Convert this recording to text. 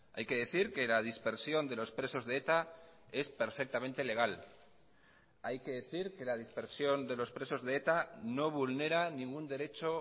hay que decir que la dispersión de los presos de eta es perfectamente legal hay que decir que la dispersión de los presos de eta no vulnera ningún derecho